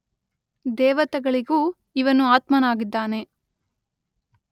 ದೇವತೆಗಳಿಗೂ ಇವನು ಆತ್ಮನಾಗಿದ್ದಾನೆ.